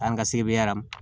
An ka sebera